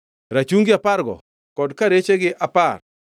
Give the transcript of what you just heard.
rachungi apargo kod karechegi apar;